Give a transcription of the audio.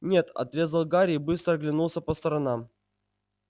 нет отрезал гарри и быстро оглянулся по сторонам